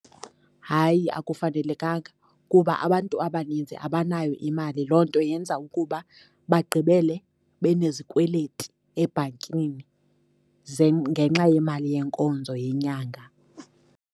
Hayi, akufanelekanga, kuba abantu abaninzi abanayo imali. Loo nto yenza ukuba bagqibele benezikweleti ebhankini, ngenxa yemali yenkonzo yenyanga.